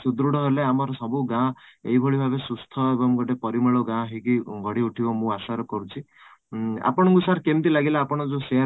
ସୃଦୁଢ ହେଲେ ଆମର ସବୁ ଗାଁ ଏଇ ଭଳି ଭାବେ ସୁସ୍ଥ ଏବଂ ଗୋଟେ ପରିମଳ ଗାଁ ହେଇକି ଗଢିଉଠିବ ମୁଁ ଆଶା ର କରୁଛି ଉଁ ଆପଣଙ୍କୁ sir କେମିତି ଲାଗିଲା ଆପଣ ଯୋଉ share